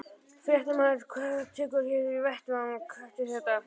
Fréttamaður: Hvað tekur við hér á vettvangnum eftir þetta?